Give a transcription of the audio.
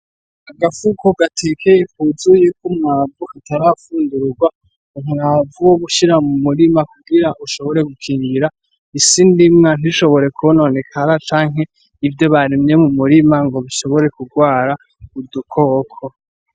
Agafuko gatekeye, kuzuye k'umwavu katarafundururwa, umwavu wo gushira mu murima kugira ushobore gukingira isi ndimwa ntishobore kwononekara, canke ivyo barimye mu murima ngo bishobore kurwara udukoko.